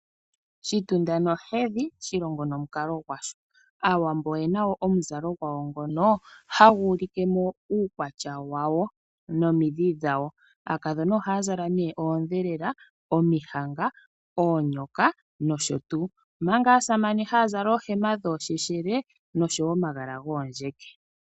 Shitunda nohedhi shilongo nomukalo gwasho. Aawambo oyena wo omuzalo gwawo ngono hagu ulike mo uukwatya wawo nomidhi dhawo. Aakadhona ohaya zala nee oondhelela, omihanga, oonyoka nosho tuu omanga aasamane haya zala oohema dhoosheshele noshowo omagala goondjeke.